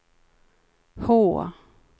H